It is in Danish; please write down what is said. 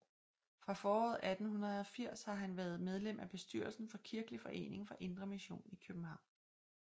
Fra foråret 1880 af har han været medlem af bestyrelsen for Kirkelig Forening for indre Mission i Kjøbenhavn